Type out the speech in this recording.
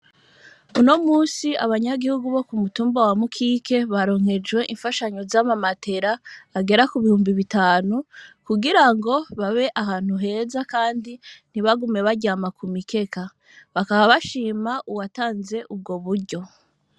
Uno munsi, abanyagihugu bo ku mutumba wa Mukike, baronkejwe imfashanyo z'amamatera agera ku bihumbi bitanu, kugira ngo babe ahantu heza kandi ntibagume baryama ku mikeka; bakaba bashima uwatanze ubwo buryo.